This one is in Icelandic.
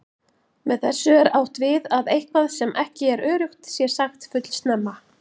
Með þessu er átt við að eitthvað sem ekki er öruggt sé sagt fullsnemma.